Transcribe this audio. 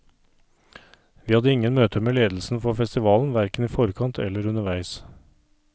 Vi hadde ingen møter med ledelsen for festivalen verken i forkant eller underveis.